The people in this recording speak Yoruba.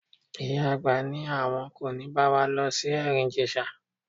Ìyá àgbà ní àwọn kò ní bá wa lọ sí Ẹ̀rìn-Ìjèṣa.